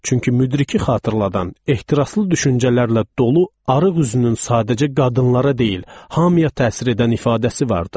Çünki müdriki xatırladan ehtiraslı düşüncələrlə dolu arıq üzünün sadəcə qadınlara deyil, hamıya təsir edən ifadəsi vardı.